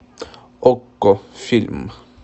окко фильм